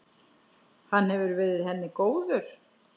Hann hefur verið henni góður.